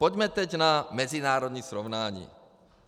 Pojďme teď na mezinárodní srovnání.